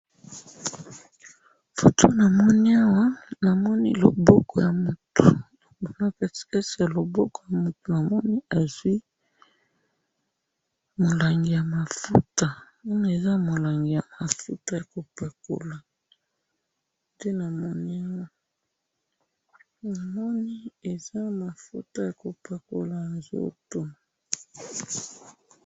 Foto namoni awa, namoni loboko ya mutu, nakatikati ya loboko ya mutu namoni azwi mulangi ya mafuta, namoni eza mulangi ya mafuta yakopakola, nde namoni awa, namoni eza mafuta yako pakola nzoto.